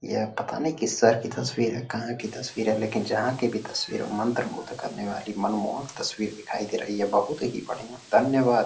यह पता नहीं किस शहर का तस्वीर है? कहाँ की तस्वीर है? लेकिन जहाँ की भी तस्वीर है मंत्रमुग्ध करने वाली मनमोहक तस्वीर दिखाई दे रही है। बहोत ही बढियाँ धन्यवाद।